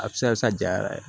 A bɛ se ka sa ja yɛrɛ